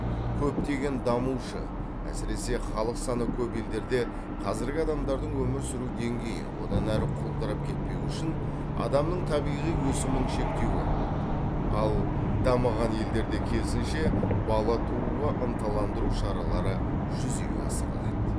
көптеген дамушы әсіресе халық саны көп елдерде қазіргі адамдардың өмір сүру деңгейі одан әрі құлдырап кетпеуі үшін адамның табиғи өсімін шектеуі ал дамыған елдерде керісінше бала тууға ынталандыру шаралары жүзеге асырылады